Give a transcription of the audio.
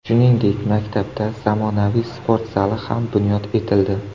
Shuningdek, maktabda zamonaviy sport zali ham bunyod etildi.